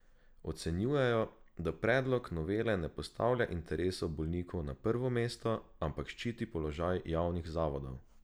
Ocenjujejo, da predlog novele ne postavlja interesov bolnikov na prvo mesto, ampak ščiti položaj javnih zavodov.